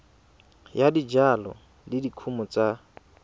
ya dijalo le dikumo tsa